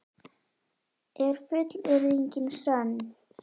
Er fullyrðingin sönn?